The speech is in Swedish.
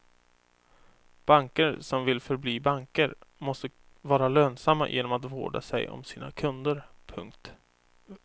Banker som vill förbli banker måste vara lönsamma genom att vårda sig om sina kunder. punkt